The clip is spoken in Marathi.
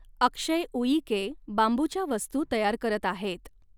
अक्षय ऊईके बांबूच्या वस्तू तयार करत आहेत.